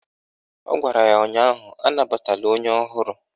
Ọ gwara ya ụnyaahụ "Anabatala onye ọhụrụ"!